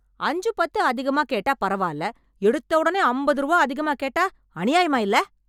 அஞ்சு பத்து அதிகமா கேட்டா பரவால்ல, எடுத்த உடனே அம்பது ரூவா அதிகமா கேட்டா அநியாயமா இல்ல?